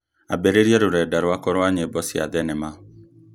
ambĩrĩria rũrenda rwakwa rwa nyĩmbo cia thenema